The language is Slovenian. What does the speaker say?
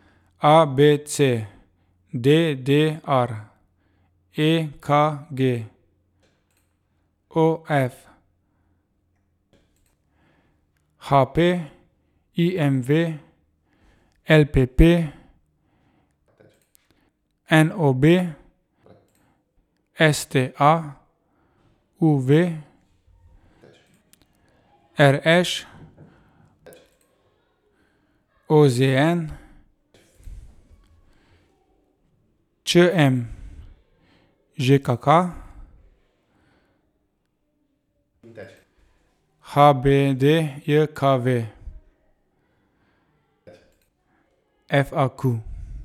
A B C; D D R; E K G; O F; H P; I M V; L P P; N O B; S T A; U V; R Š; O Z N; Č M; Ž K K; H B D J K V; F A Q.